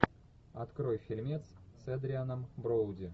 открой фильмец с эдрианом броуди